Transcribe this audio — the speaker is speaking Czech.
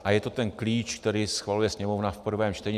A je to ten klíč, který schvaluje Sněmovna v prvém čtení.